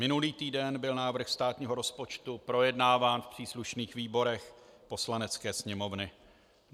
Minulý týden byl návrh státního rozpočtu projednáván v příslušných výborech Poslanecké sněmovny.